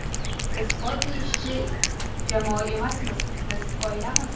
Biz oddiy ishchi jamoa emasmiz biz oilamiz.